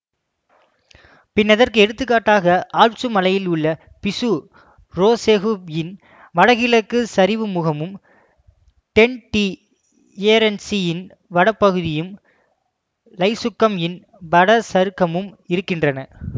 பின்னதற்கு எடுத்துக்காட்டாக ஆல்ப்சு மலையில் உள்ள பிசு ரோசெகு இன் வடகிழக்குச் சரிவுமுகமும் டென்ட் டிஎரென்சு இன் வடப்பகுதியும் லைசுக்கம் இன் வட சருகமும் இருக்கின்றன